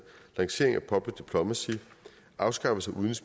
lancering af public diplomacy afskaffelse